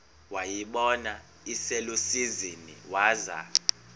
wayibona iselusizini waza